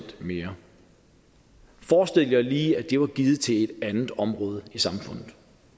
mere forestil jer lige at det var givet til et andet område i samfundet